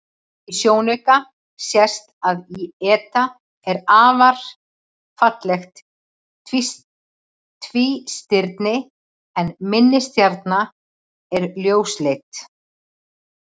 Í sjónauka sést að eta er afar fallegt tvístirni en minni stjarnan er ljósleit.